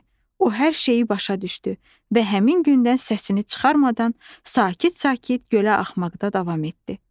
O hər şeyi başa düşdü və həmin gündən səsini çıxarmadan sakit-sakit gölə axmaqda davam etdi.